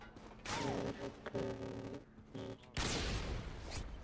Bergur nefnir tvö.